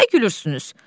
Nə gülürsünüz?